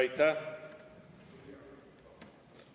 Aitäh!